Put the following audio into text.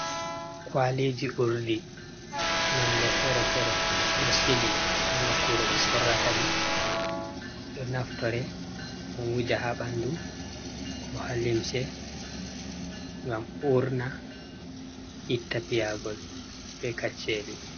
Kwaliji urɗi nonde fere fere ɗo sili ha nokkure ɓe sorata ɗi, ɗo naftore ɗo wuja ha ɓanɗu, ko ha limse, ngam urna, ita piyagol be kacheli.